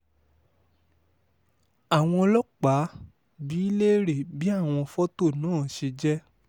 àwọn ọlọ́pàá bi í léèrè bí àwọn fọ́tò náà ṣe jẹ́